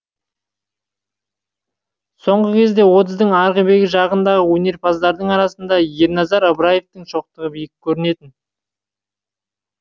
сол кезде отыздың арғы бергі жағындағы өнерпаздардың арасында ерназар ыбыраевтың шоқтығы биік көрінетін